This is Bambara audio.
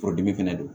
Forodimi fɛnɛ don